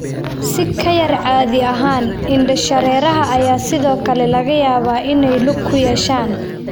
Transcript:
Si ka yar caadi ahaan, indhashareeraha ayaa sidoo kale laga yaabaa inay lug ku yeeshaan.